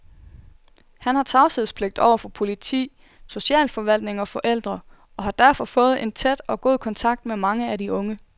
Han har tavshedspligt over for politi, socialforvaltning og forældre, og har derfor fået en tæt og god kontakt med mange af de unge.